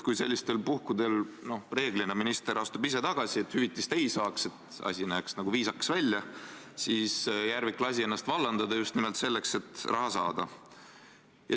Kui sellistel puhkudel astub minister reeglina ise tagasi, et ta hüvitist ei saaks ja asi näeks nagu viisakas välja, siis Järvik lasi ennast vallandada just nimelt selleks, et raha saada.